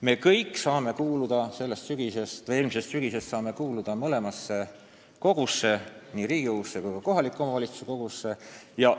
Me kõik saame eelmisest sügisest kuuluda mõlemasse kogusse, nii Riigikogusse kui ka kohaliku omavalitsuse volikogusse.